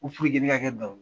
Ko ne ke kɛ